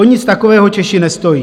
O nic takového Češi nestojí.